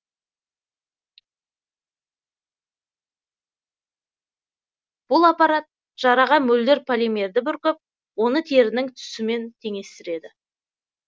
бұл аппарат жараға мөлдір полимерді бүркіп оны терінің түсімен теңестіреді